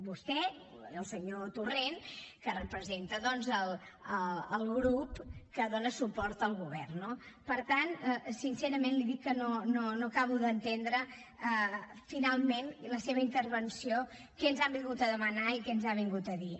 vostè i el senyor torrent que representa doncs el grup que dóna suport al govern no per tant sincerament li dic que no acabo d’entendre finalment la seva intervenció què ens ha vingut a demanar i què ens ha vingut a dir